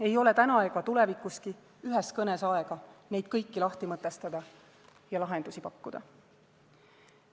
Ei ole täna ega tulevikuski ühes kõnes aega neid kõiki lahti mõtestada ja lahendusi pakkuda.